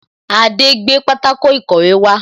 Adé gbé pátákó ìkọ̀wé wá